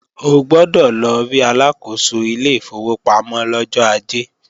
O gbọ́dọ̀ lọ rí Aláàkóso ilé ìfowópamọ́ lọ́jọ́ Ajé!